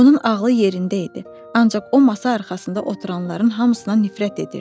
Onun ağlı yerində idi, ancaq o masa arxasında oturanların hamısına nifrət edirdi.